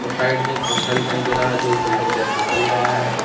Side में एक पंखा दिखाई दे रहा है जो एक बिल्डिंग के अंदर चल रहा है।